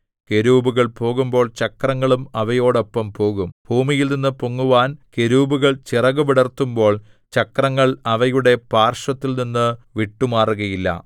കെരൂബുകൾ പോകുമ്പോൾ ചക്രങ്ങളും അവയോടൊപ്പം പോകും ഭൂമിയിൽനിന്നു പൊങ്ങുവാൻ കെരൂബുകൾ ചിറകു വിടർത്തുമ്പോൾ ചക്രങ്ങൾ അവയുടെ പാർശ്വത്തിൽനിന്ന് വിട്ടുമാറുകയില്ല